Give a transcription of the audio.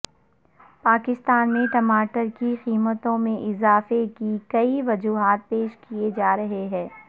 پاکستان میں ٹماٹر کی قیمتوں میں اضافے کی کئی وجوہات پیش کی جا رہی ہیں